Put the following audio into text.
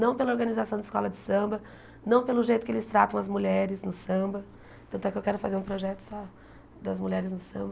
Não pela organização da escola de samba, não pelo jeito que eles tratam as mulheres no samba, tanto é que eu quero fazer um projeto só das mulheres no samba.